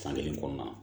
San kelen kɔnɔna